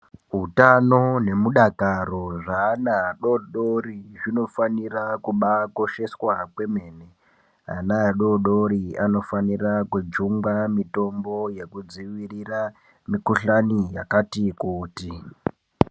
Utano nemudakaro zveana adodori zvinofanira kubaakosheshwa kwemene ana adodori anofanira kujungwa mitombo yekudziirira mikuhlani yakati kuti.